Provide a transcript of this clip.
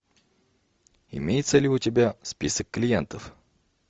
имеется ли у тебя список клиентов